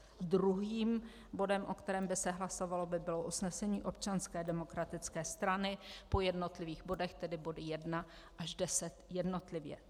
Druhým bodem, o kterém by se hlasovalo, by bylo usnesení Občanské demokratické strany po jednotlivých bodech, tedy body 1 až 10 jednotlivě.